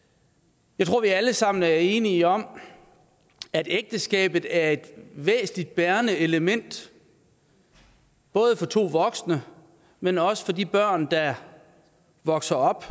jeg tror at vi alle sammen er enige om at ægteskabet er et væsentligt bærende element både for to voksne men også for de børn der vokser op